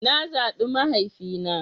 Na zaɓi mahaifina.